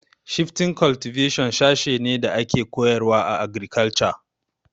Shifting cultivation sashe ne da ake koyarwa a agrikalture